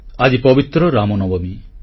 ଆଜି ପବିତ୍ର ରାମନବମୀ